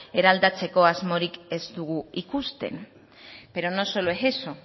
eraldatzeko asmorik ez dugu ikusten pero no solo es eso